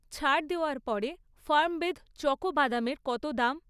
ছাড় দেওয়ার পরে ফার্মবেদ চকো বাদামের কত দাম?